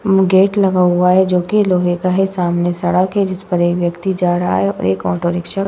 म्म gate लगा हुआ है जो कि लोहे का है। सामने सड़क है जिस पर एक व्यक्ति जा रहा है और एक ऑटोरिक्शा